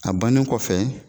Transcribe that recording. A bannen kɔfɛ